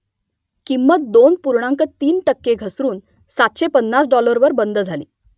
किंमत दोन पूर्णांक तीन टक्के घसरून सातशे पन्नास डॉलरवर बंद झाली